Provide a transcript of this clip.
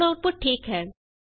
ਹੁਣ ਆਉਟਪੁਟ ਠੀਕ ਹੈ